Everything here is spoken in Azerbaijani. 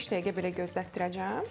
Bir beş dəqiqə belə gözlətdirəcəm.